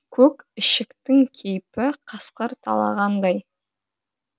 көк ішектің кейпі қасқыр талағандай